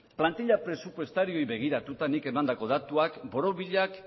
plantila presupuestarioei begiratuta nik emandako datuak borobilak